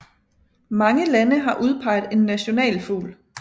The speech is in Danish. Mange lande har udpeget en nationalfugl